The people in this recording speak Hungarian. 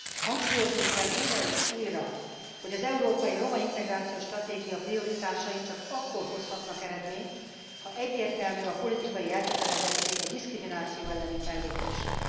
Hangsúlyoznunk kell újra és újra, hogy az európai roma integrációs stratégia prioritásai csak akkor hozhatnak eredményt, ha egyértelmű a politikai elkötelezettség a diszkrimináció elleni fellépésre.